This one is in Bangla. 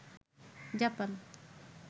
জাপান